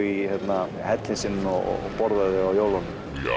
í hellinn sinn og borðar þau á jólunum